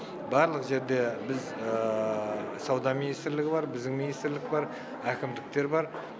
барлық жерде біз сауда министрлігі бар біздің министрлік бар әкімдіктер бар